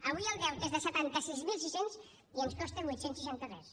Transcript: avui el deute és de setanta sis mil sis cents i ens costa vuit cents i seixanta tres